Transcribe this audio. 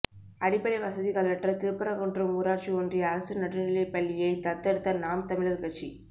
அடிப்படை வசதிகளற்ற திருப்பரங்குன்றம் ஊராட்சி ஒன்றிய அரசு நடுநிலைப்பள்ளியைத் தத்தெடுத்த நாம் தமிழர் கட்சி